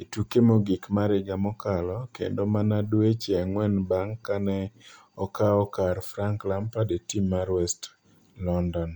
e tuke mogik mar higa mokalo kendo mana dweche ang'wen bang' ka ne okawo kar Frank Lampard e tim mar West London.